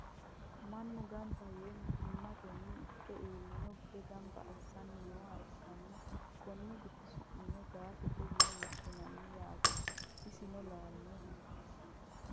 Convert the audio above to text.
mannu gamba yee mittimmatenni ikke iillino gide gamba assanni nooha ikkanna konni gidi su'mino gaashete yine woshshinanni yaate, isino laalinoho.